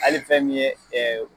Ali fɛn min ye ɛɛ